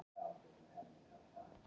Minnkandi ofankoma í dag